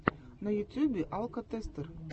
на ютюбе алкотестер